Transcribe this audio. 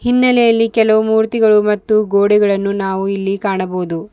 ಹಿನ್ನಲೆಯಲ್ಲಿ ಕೆಲವು ಮೂರ್ತಿಗಳು ಮತ್ತು ಗೋಡೆಗಳನ್ನು ನಾವು ಇಲ್ಲಿ ಕಾಣಬಹುದು.